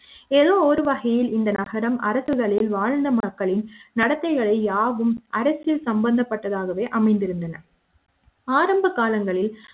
ஏதோ ஒரு வகையில் இந்த நகரம் அரசுகளில் வாழ்ந்த மக்களின் நடத்தைகளை யாவும் அரசியல் சம்பந்தப்பட்டதாகவே அமைந்திருந்தன ஆரம்ப காலங்களில்